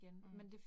Mh